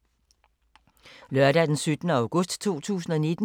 Lørdag d. 17. august 2019